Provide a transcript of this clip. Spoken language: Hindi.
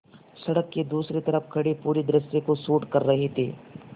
सड़क के दूसरी तरफ़ खड़े पूरे दृश्य को शूट कर रहे थे